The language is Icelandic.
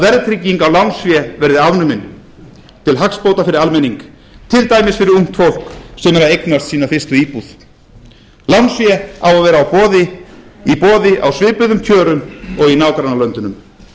verðtrygging á lánsfé verði afnumin til hagsbóta fyrir almenning til dæmis fyrir ungt fólk sem er að eignast sína fyrstu íbúð lánsfé á að vera í boði á svipuðum kjörum og í nágrannalöndunum við